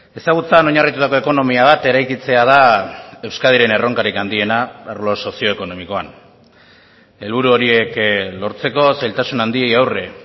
ezagutzan oinarritutako ekonomia bat eraikitzea da euskadiren erronkarik handiena arlo sozioekonomikoan helburu horiek lortzeko zailtasun handiei aurre